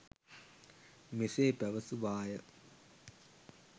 මෙසේ පැවසුවාය.